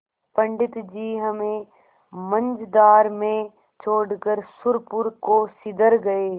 पंडित जी हमें मँझधार में छोड़कर सुरपुर को सिधर गये